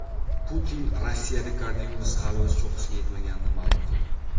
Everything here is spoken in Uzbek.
Putin Rossiyada koronavirus hali o‘z cho‘qqisiga yetmaganini ma’lum qildi.